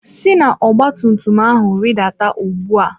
Si na ọgba tum tum ahụ rịdata ugbu a!